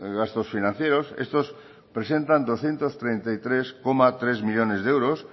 gastos financieros estos presentan doscientos treinta y tres coma tres millónes de euros